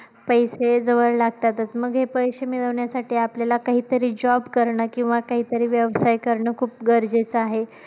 पैसे जवळ लागतातच मग हे पैसे मिळवण्यासाठी आपल्याला काहीतरी job करणं किंवा काहीतरी व्यवसाय करणं खूप गरजेचं आहे.